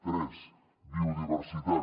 tres biodiversitat